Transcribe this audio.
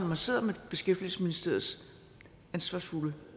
man sidder med beskæftigelsesministerens ansvarsfulde